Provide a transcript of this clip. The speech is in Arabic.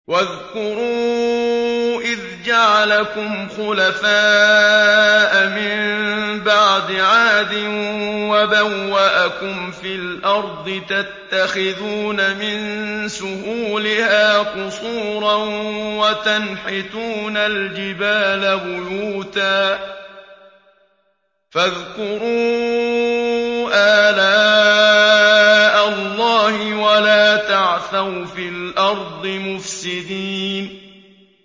وَاذْكُرُوا إِذْ جَعَلَكُمْ خُلَفَاءَ مِن بَعْدِ عَادٍ وَبَوَّأَكُمْ فِي الْأَرْضِ تَتَّخِذُونَ مِن سُهُولِهَا قُصُورًا وَتَنْحِتُونَ الْجِبَالَ بُيُوتًا ۖ فَاذْكُرُوا آلَاءَ اللَّهِ وَلَا تَعْثَوْا فِي الْأَرْضِ مُفْسِدِينَ